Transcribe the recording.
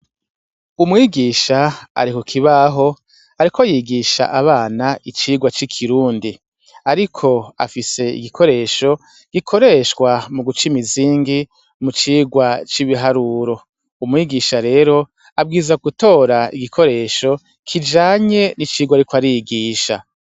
Umwigisha ari kukibaho ariko yigisha abana icirwa c'ikirundi, ariko afise igikoresho gikoreshwa muguc'imizingi mucirwa c'ibiharuro, umwigisha rero abwirizwa gutora igikoresho kijanye n'icirwa ariko arigisha.